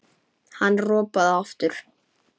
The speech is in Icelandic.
Hann ropaði aftur.